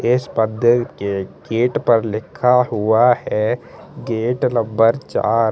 इस पर्दे के गेट पर लिखा हुआ है गेट नम्बर चार।